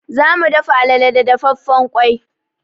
Za mu dafa alale da dafaffen ƙwai.